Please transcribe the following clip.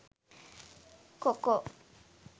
coco